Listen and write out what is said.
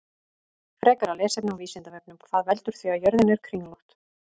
Frekara lesefni á Vísindavefnum: Hvað veldur því að jörðin er kringlótt?